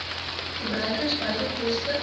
gebruikers beide koste